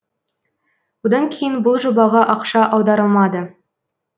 одан кейін бұл жобаға ақша аударылмады